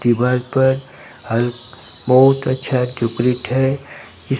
दीवार पर अ बहुत अच्छा है इस--